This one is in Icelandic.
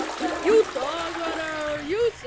Komdu þér í rúmið, kona, ég hef átt erfiðan dag.